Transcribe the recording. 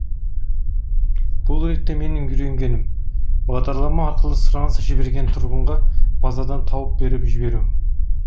бұл ретте менің үйренгенім бағдарлама арқылы сұраныс жіберген тұрғынға базадан тауып беріп жіберу